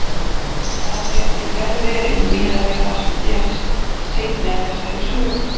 Það gæti vel verið, miðað við það sem gerist seinna í þessari sögu.